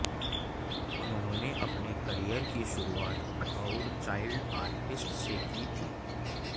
उन्होंने अपने करियर की शुरूआत बतौर चाइल्ड आर्टिस्ट से की थी